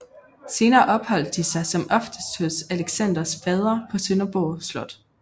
Senere opholdt de sig som oftest hos Alexanders fader på Sønderborg Slot